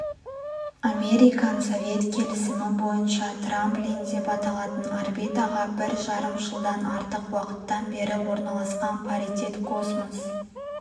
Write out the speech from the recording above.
американ-совет келісімі бойынша трамплин деп аталатын орбитаға бір жарым жылдан артық уақыттан бері орналасқан паритет космос